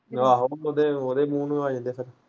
ਆਹੋ ਨਹੀਂ ਤੇ ਉਹਦੇ ਮੂੰਹ ਨੂੰ ਆ ਜਾਂਦੇ ਫਿਰ।